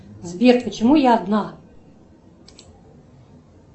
сбер почему я одна